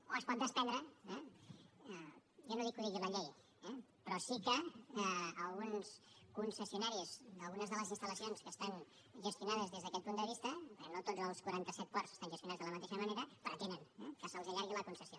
o se’n pot desprendre eh jo no dic que ho digui la llei eh però sí que alguns concessionaris d’algunes de les instal·lacions que estan gestionades des d’aquest punt de vista perquè no tots els quaranta set ports estan gestionats de la mateixa manera pretenen que se’ls allargui la concessió